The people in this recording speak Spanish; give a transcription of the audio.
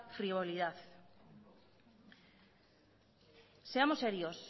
frivolidad seamos serios